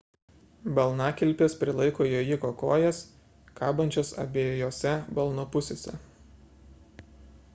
balnakilpės prilaiko jojiko kojas kabančias abiejose balno pusėse